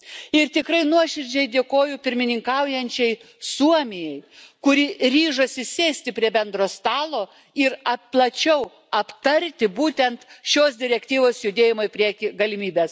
Ir tikrai nuoširdžiai dėkoju pirmininkaujančiai Suomijai, kuri ryžosi sėsti prie bendro stalo ir plačiau aptarti būtent šios direktyvos judėjimo į priekį galimybes.